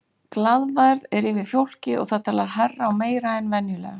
Glaðværð er yfir fólki og það talar hærra og meira en venjulega.